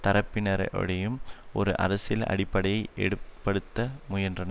தரப்பினரிடையும் ஒரு அரசியல் அடிப்படை எடுப்படுத்த முயன்றார்